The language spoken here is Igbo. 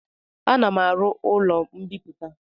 Ana m aru ụlọ mbiputa